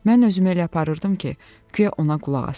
Mən özümü elə aparırdım ki, guya ona qulaq asıram.